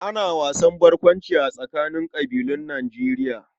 Ana wasan barkwanci a tsakanin ƙabilun Nijerya